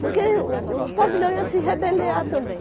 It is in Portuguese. Porque o o pavilhão ia se rebeliar também.